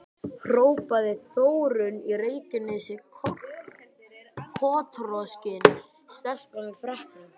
hrópaði Þórunn í Reykjanesi, kotroskin stelpa með freknur.